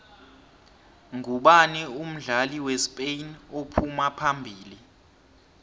nqubani umdlali wespain ophuma phambili